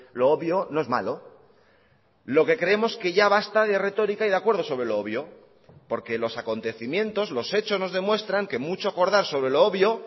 lo obvio no es malo lo que creemos que ya basta de retórica y de acuerdo sobre lo obvio porque los acontecimientos los hechos nos demuestran que mucho acordar sobre lo obvio